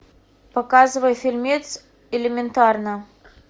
показывай фильмец элементарно